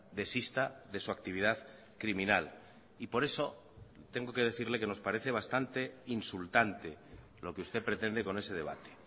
desista de su actividad criminal y por eso tengo que decirle que nos parece bastante insultante lo que usted pretende con ese debate